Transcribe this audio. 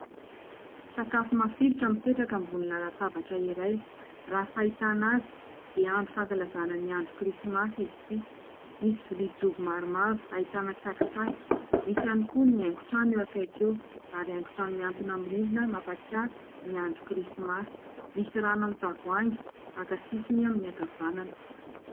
Sakafo mafilotra mipetraka ambony latabatra iray. Raha ny fahitana azy dia andro fahankalazana ny andro krismasy izy ity. Misy lovia jobo maromaro ahitana tsakitsaky ; misy ihany koa ny haingo-trano eo akaiky eo, ary haingo trano mihantona amin'ny rindrina mampatsiahy ny andro krismasy ; misy rano amin'ny tavoahangy maka sisiny amin'ny akavanana.